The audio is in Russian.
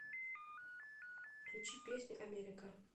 включи песню америка